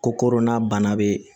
Ko kodɔnna bana bɛ